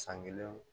San kelen